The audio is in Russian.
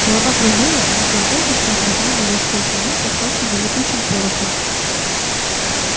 голова кружилась будто он только что отмахал невесть сколько миль подхваченный летучим порохом